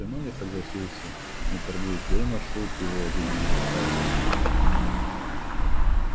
с ценой я согласился не торгуясь да и маршрут его видимо устраивал